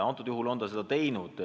Antud juhul on ta seda teinud.